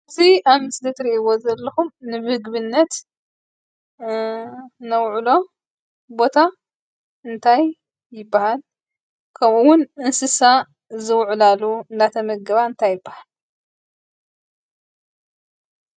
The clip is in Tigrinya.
እዚ አብ ምስሊ እትሪእዎ ዘለኩም ንምግብነት ነውዕሎ ቦታ እንታይ ይበሃል? ከምኡ እውን እንስሳ ዝውዕላሉ እናተመገባ እንታይ ይበሃል ?